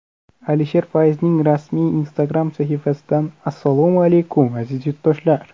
Alisher Fayzning rasmiy Instagram sahifasidan Assalomu alaykum, aziz yurtdoshlar!